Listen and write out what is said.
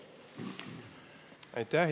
Aitäh!